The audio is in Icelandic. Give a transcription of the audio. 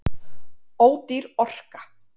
Ódýr orka